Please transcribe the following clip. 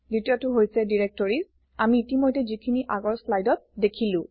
দ্বিতীয়টো হৈছে Directories আমি ইতিমধ্যে যিখিনি আগৰ slideত দেখিলো